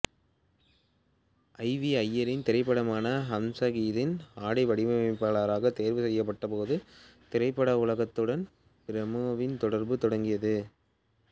G V ஐயரின் திரைப்படமான ஹம்சகீத்தின் ஆடை வடிவமைப்பாளராக தேர்வு செய்யப்பட்டபோது திரைப்பட உலகத்துடன் பிரேமாவின் தொடர்பு தொடங்கியது